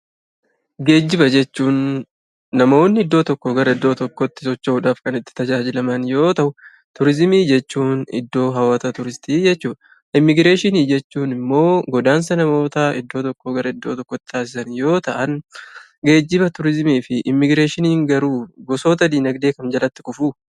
Geejjiba jechuun namoonni iddoo tokkoo gara iddoo tokkootti socho'uudhaaf kan itti tajaajilaman yoo ta'u turizimii jechuun iddoo hawwata turistii jechuudha. Immigireeshinii jechuun immoo godaansa namoota iddoo tokkoo gara iddoo tokkootti taasisan yoo ta'an geejjiba, turizimii fi immigireeshiniin garuu gosoota diinagdee kam jalatti kufuu?